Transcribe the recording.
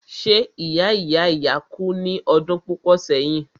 ṣé ìya ìya ìya kú ní ọdún púpọ̀ sẹ́yìn?